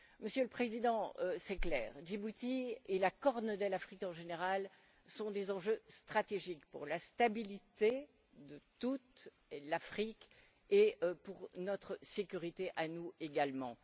Monsieur le Président, il est clair que Djibouti et la corne de l'Afrique, en général, sont des enjeux stratégiques pour la stabilité de toute l'Afrique et pour notre sécurité à nous également.